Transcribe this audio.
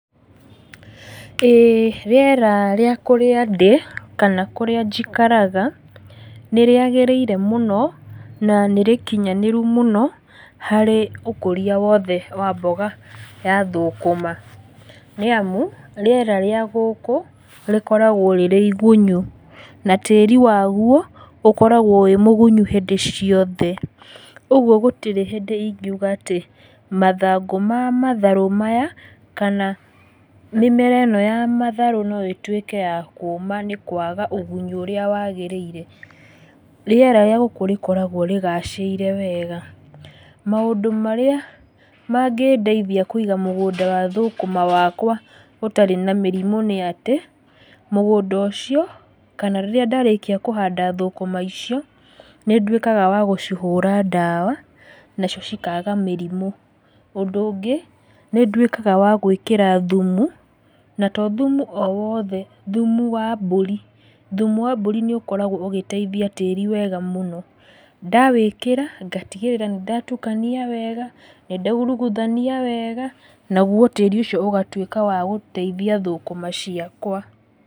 Ĩĩ rĩera rĩa kũrĩa ndĩ, kana kũrĩa njikaraga, nĩ rĩagĩrĩire mũno, na nĩ rĩkiyanĩru mũno, harĩ ũkoria wothe wa mboga ya thũkũma. Nĩ amu rĩera rĩa gũkũ rĩkoragwo rĩrĩ gunyu, na tĩri waguo ũkoragwo wĩ mũgunyu hĩndĩ ciothe, ũguo gũtirĩ hĩndĩ ingiuga atĩ mathangũ ma matharũ maya, kana mĩmera ĩno yamatharũ no ĩtuĩke yakũma nĩ kwaga ũgunyi ũirĩa wagĩrĩire, rĩera rĩa gũkũ rĩkoragwo rĩgacĩire wega. Maũndũ marĩa mangĩndeithia kwĩga mũgũnda wa thũkũma wakwa ũtarĩ na mĩrimũ nĩatĩ, mgũnda ũcio, kana rĩrĩa ndarĩkia kũhanda thũkũma icio, nĩ nduĩkaga wa gũcihũra ndawa, nacio cikaga mĩrimũ. Ũndũ ũngĩ, nĩ nduĩkaga wagwĩkĩra thumu, na tothumu o wothe, thumu wa mburi, thumu wa mburi nĩ ũkoragwo ũgĩteithia tĩri wega mũno, ndawĩkĩra, ngatigĩrĩra nĩ ndatukania wega, nĩ ndairuguthania wega, naguo tĩri ũcio ũgatuĩka wa gũteithia thũkũma ciakwa.